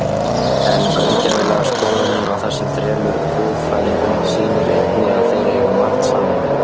En gaumgæfileg skoðun á þessum þremur guðfræðingum sýnir einnig að þeir eiga margt sameiginlegt.